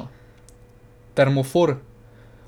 Termofor.